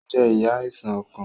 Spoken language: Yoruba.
O ń je iyá Àìsàn ọkàn